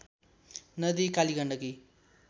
नदी कालिगण्डकी